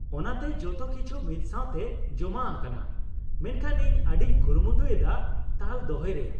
ᱚᱱᱟᱛᱮ ᱡᱚᱛᱚ ᱠᱤᱪᱷᱩ ᱢᱤᱫ ᱥᱟᱶᱛᱮ ᱡᱚᱢᱟ ᱟᱠᱟᱱᱟ ᱾ ᱢᱮᱱᱠᱷᱟᱱ ᱤᱧ ᱟᱹᱰᱤᱧ ᱠᱩᱨᱩᱢᱩᱴᱩ ᱮᱫᱟ ᱛᱟᱞ ᱫᱚᱦᱚᱭ ᱨᱮᱭᱟᱜ ᱾